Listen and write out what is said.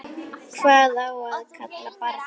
Hvað á að kalla barnið?